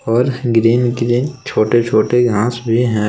और green green छोटे छोटे घास भी हैं।